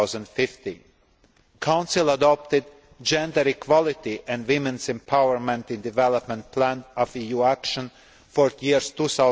by 2015. Council adopted gender equality and women's empowerment in the development plan of EU action for the years